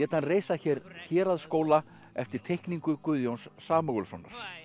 reisa hér héraðsskóla eftir teikningu Guðjóns Samúelssonar